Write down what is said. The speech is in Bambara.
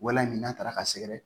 Walahi n'a taara ka sɛgɛrɛ